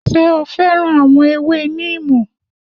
Ṣé o féràn àwọn ewé níìmù?